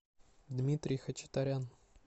дмитрий хачатарян